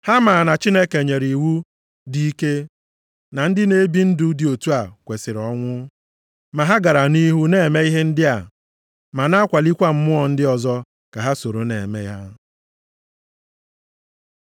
Ha maa na Chineke nyere iwu dị ike na ndị na-ebi ndụ dị otu a kwesiri ọnwụ, ma ha gara nʼihu na-eme ihe ndị a, ma na-akwalịkwa mmụọ ndị ọzọ ka ha soro na-eme ha.